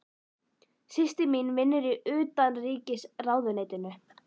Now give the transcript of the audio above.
Systir mín vinnur í Utanríkisráðuneytinu.